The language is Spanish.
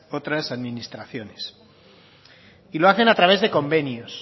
otras administraciones y lo hacen a través de convenios